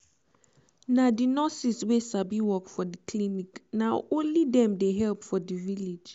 na the nurses wey sabi work for the clinic na only dem dey help for the village